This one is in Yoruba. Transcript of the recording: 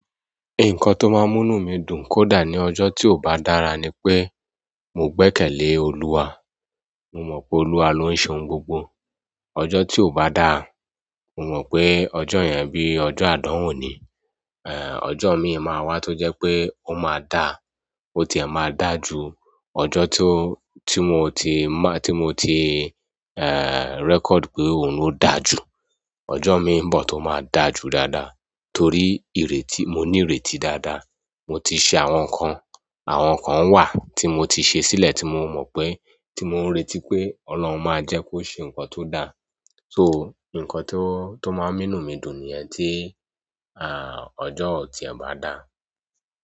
Nǹkan tó máa ń múnú mi dùn kódà ní ọjọ́ ti ó bá dára ni pé mo gbẹ́kẹ̀lé Olúwa. Mo mọ̀ pé Olúwa ló ń ṣe ohun gbogbo. Ọjọ́ ti ó bá dà, mo mọ̀ pé ọjọ́ yẹn bí ọjọ́ àdánwò ni. Ẹ̀, ọjọ́ mi máa wá tó jẹ́ pé ó máa dà, ó ti ẹ̀ máa dà ju ọjọ́ tó, tí mo ti má, tí mo ti, ẹ́, record pé òun lo dà ju. Ọjọ́ mi ń bọ̀ tó máa dà ju dáadáa torí ìrètí, mo ní ìrètí dáadáa. Mo ti ṣe àwọn nǹkan, àwọn nǹkan wà tí mo ti ṣe sílẹ̀ tí mo mọ́ pé, tí mo ń retí pé Ọlọ́run máa jẹ́ kó ṣe nǹkan tó dà. So, nǹkan tó, tó máa ń múnú mi dùn ni yẹ́n tí, à, ọjọ́ ò tí è bá dà.